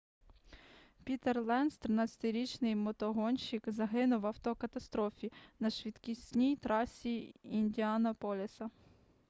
пітер ленц 13-річний мотогонщик загинув в автокатастрофі на швидкісній трасі індіанаполіса